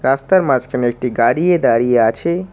রাস্তার মাঝখানে একটি গাড়িয়ে দাঁড়িয়ে আছে।